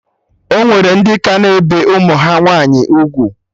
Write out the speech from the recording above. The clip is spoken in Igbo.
Ọnwere ndị ka na-ebe ụmụ ha nwaanyị ugwu